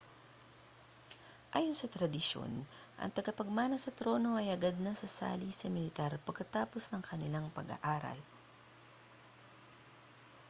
ayon sa tradisyon ang tagapagmana sa trono ay agad na sasali sa militar pagkatapos ng kanilang pag-aaral